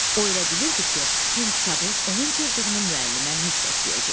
O elə bilirdi ki, Tom kitabı onun cırdığını müəllimə mütləq deyəcək.